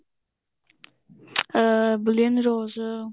uh plain rose